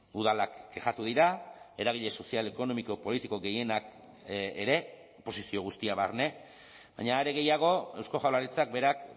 udalak kexatu dira eragile sozial ekonomiko politiko gehienak ere oposizio guztia barne baina are gehiago eusko jaurlaritzak berak